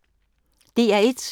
DR1